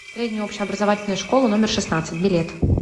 средняя общеобразовательная школа номер шестнадцать билет